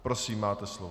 Prosím, máte slovo.